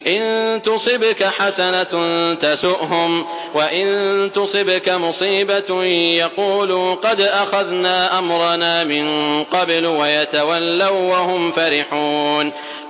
إِن تُصِبْكَ حَسَنَةٌ تَسُؤْهُمْ ۖ وَإِن تُصِبْكَ مُصِيبَةٌ يَقُولُوا قَدْ أَخَذْنَا أَمْرَنَا مِن قَبْلُ وَيَتَوَلَّوا وَّهُمْ فَرِحُونَ